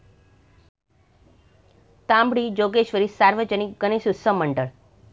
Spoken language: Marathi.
तांबडी जोगेश्वरी सार्वजनिक गणेशोत्सव मंडळ